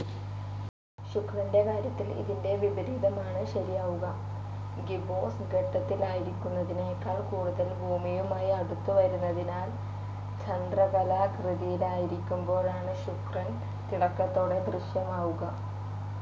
ശുക്രന്റെ കാര്യത്തിൽ ഇതിന്റെ വിപരീതമാണ്‌ ശരിയാവുക, ഗിബ്ബോസ് ഘട്ടത്തിലായിരിക്കുന്നതിനേക്കാൾ കൂടുതൽ ഭൂമിയുമായി അടുത്തുവരുന്നതിനാൽ ചന്ദ്രക്കലാകൃതിയിലായിരിക്കുമ്പോഴാണ്‌ ശുക്രൻ തിളക്കത്തോടെ ദൃശ്യമാകുക.